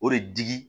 O de digi